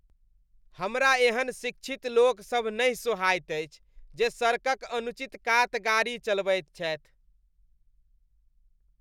हमरा एहन शिक्षित लोकसभ नहि सोहायत अछि जे सड़कक अनुचित कात गाड़ी चलबैत छथि।